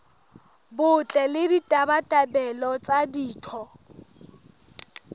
botle le ditabatabelo tsa ditho